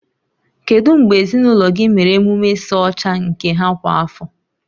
Kedu mgbe ezinụlọ gị mere emume ịsa ọcha nke ha kwa afọ?